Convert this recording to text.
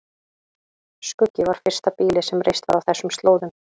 Skuggi var fyrsta býlið sem reist var á þessum slóðum.